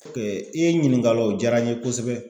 i ye n ɲininkala o diyara n ye kosɛbɛ.